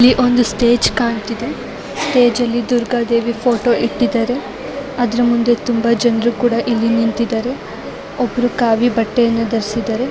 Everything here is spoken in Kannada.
ಇಲ್ಲಿ ಒಂದು ಸ್ಟೇಜ್ ಕಾಣ್ತಾ ಇದೆ ಸ್ಟೇಜ್ ದುರ್ಗಾದೇವಿ ಫೋಟೋ ಇಟ್ಟಿದ್ದಾರೆ ಅದರ ಮುಂದೆ ತುಂಬಾ ಜನ ನಿಂತಿದ್ದಾರೆ ಒಬ್ಬರು ಕಾವಿ ಬಟ್ಟೆಯನ್ನು ಧರಿಸಿದ್ದಾರೆ.